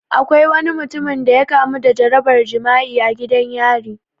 Akwai wani mutumin da ya kamu da jarabar jima'i a gidan yari